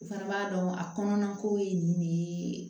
U fana b'a dɔn a kɔnɔna ko ye nin de ye